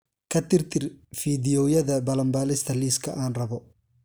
ka tirtir fiidiyowyada balanbaalista liiska aan rabo